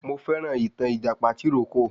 Mo féràn ìtàn Ìjàpá tìrókò